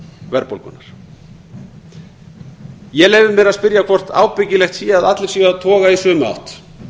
verðbólgunnar ég leyfi mér að spyrja hvort ábyggilegt sé að allir séu að toga í sömu átt